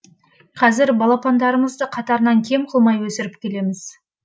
қазір балапандарымызды қатарынан кем қылмай өсіріп келеміз